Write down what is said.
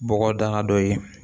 Bɔgɔdaga dɔ ye